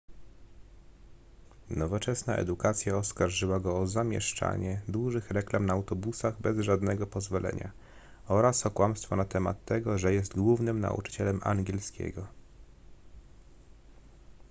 nowoczesna edukacja oskarżyła go o zamieszczanie dużych reklam na autobusach bez żadnego pozwolenia oraz o kłamstwa na temat tego że jest głównym nauczycielem angielskiego